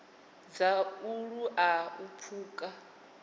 dza u laula u pfuka